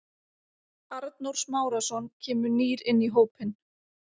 Arnór Smárason kemur nýr inn í hópinn.